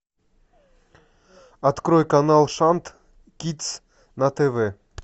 открой канал шант кидс на тв